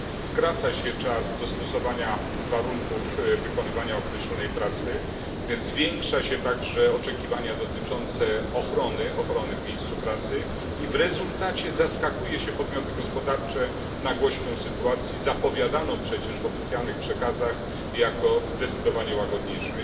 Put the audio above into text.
Skraca się czas dostosowania warunków wykonywania określonej pracy, zwiększa się oczekiwania dotyczące ochrony w miejscu pracy i w rezultacie zaskakuje się podmioty gospodarcze nagłością sytuacji zapowiadaną przecież w oficjalnych przekazach jako zdecydowanie łagodniejszą.